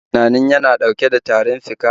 Kana tunanin yana dauke da tarin fika?